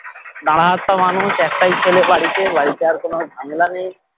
ঝাড়া হাত পা মানুষ একটাই ছেলে বাড়িতে বাড়িতে আর কোনো ঝামেলা নেই